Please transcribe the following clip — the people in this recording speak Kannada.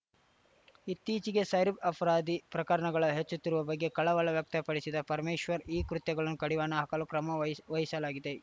ಇತ್ತೀಚಿಗೆ ಸೈರಬ್ ಅಪರಾಧ ಪ್ರಕರಣಗಳ ಹೆಚ್ಚುತ್ತಿರುವ ಬಗ್ಗೆ ಕಳವಳ ವ್ಯಕ್ತಪಡಿಸಿದ ಪರಮೇಶ್ವರ್‌ ಈ ಕೃತ್ಯಗಳ ಕಡಿವಾಣ ಹಾಕಲು ಕ್ರಮ ವಹಿಶ್ ವಹಿಶಲಾಗಿದೆ